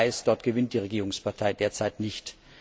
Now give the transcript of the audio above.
man weiß, dort gewinnt die Regierungspartei derzeit nicht.